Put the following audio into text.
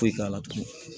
Foyi t'a la tugun